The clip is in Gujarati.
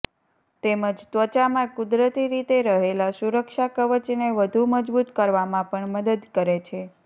તેમજ ત્વચામાં કુદરતી રીતે રહેલા સુરક્ષા કવચને વધુ મજબૂત કરવામાં પણ મદદ કરે છે